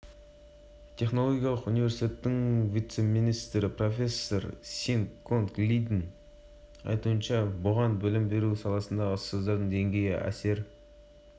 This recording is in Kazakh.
естеріңізге сала кетсек барлық көрсеткіштерден бірінші орын алған сингапур тәуелсіздігін жылы ғана алған кішкентай ғана мемлекет